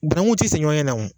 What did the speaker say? Banankun tɛ senni ɲɔgɔn ɲɛ na wo.